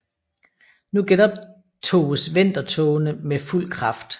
Nu genoptoges vendertogene med fuld Kraft